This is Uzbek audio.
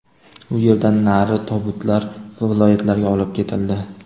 U yerdan nari tobutlar viloyatlarga olib ketildi.